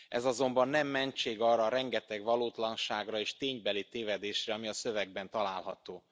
Ez azonban nem mentség arra a rengeteg valótlanságra és ténybeli tévedésre, ami a szövegben található.